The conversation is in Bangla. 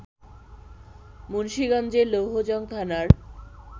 মুন্সীগঞ্জের লৌহজং থানার